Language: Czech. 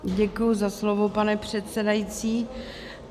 Děkuji za slovo, pane předsedající.